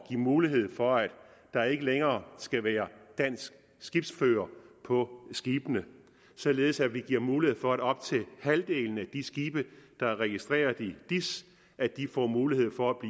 give mulighed for at der ikke længere skal være danske skibsførere på skibene således at vi giver mulighed for at op til halvdelen af de skibe der er registreret i dis får mulighed for at